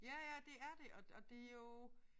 Ja ja det er det og det er jo